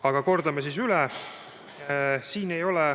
Aga kordan siis üle.